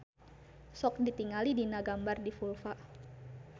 Sok ditingali dina gambar di vulva.